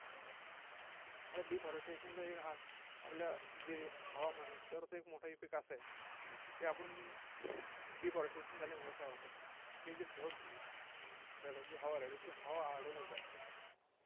आता deforestation चं एक अह आपल्या जे हवामान आहे, त्याच्यावरचा एक मोठा effect असा आहे की, आपण deforestation झाल्यामुळे काय होतं की हे जे ढग, त्याच्यात जी हवा राहते, ती हवा अडवल्याच जात नाही.